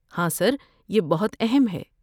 ہاں، سر۔ یہ بہت اہم ہے۔